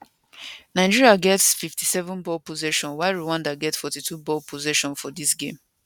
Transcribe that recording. nigeria get 57 ball possession while rwanda get 42 ball possession for dis game